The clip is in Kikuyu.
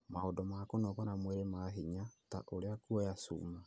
Maũndũ ma kũnogora mwĩrĩ ma hinya, ta ũrĩa kuoya Cuma,